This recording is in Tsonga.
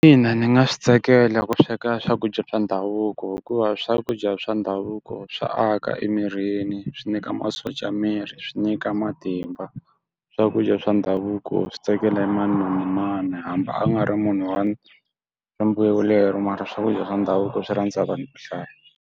Ina, ni nga swi tsakela ku sweka swakudya swa ndhavuko hikuva swakudya swa ndhavuko swa aka emirini, swi nyika masocha ya miri, swi nyika matimba. Swakudya swa ndhavuko swi tsakela mani na mani hambi a nga ri munhu wa lero mara swakudya swa ndhavuko swi rhandza hi vanhu vo hlaya.